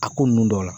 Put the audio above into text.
A ko nunnu dɔw la